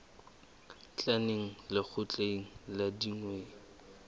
tla neng lekgotleng la dinyewe